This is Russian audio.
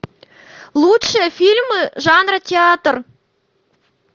лучшие фильмы жанра театр